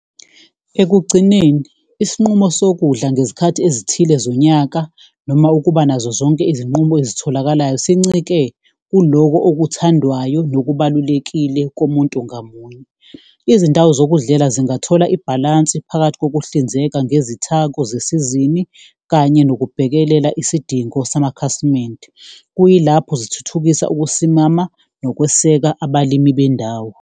Ekugcineni isinqumo sokudla ngezikhathi ezithile zonyaka noma ukuba nazo zonke izinqumo ezitholakalayo, sincike kuloko okuthandwayo nokubalulekile komuntu ngamunye. Izindawo zokudlela zingathola ibhalansi phakathi kokuhlinzeka ngezithako zesizini kanye ngokubhekelela isidingo samakhasimende, kuyilapho zithuthukisa ukusimama nokweseka abalimi bendawo